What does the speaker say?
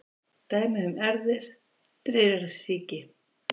Dæmi um erfðir dreyrasýki: